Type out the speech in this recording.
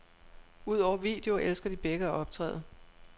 Udover video elsker de begge at optræde.